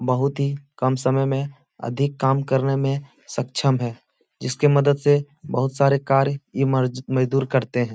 बहुत ही कम समय में अधिक काम करने में सक्षम है जिसके मदद से बहुत सारे कार्य ये मर्ज मजदूर करते हैं।